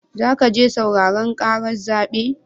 Zaka je sauraren ƙarar zaɓen?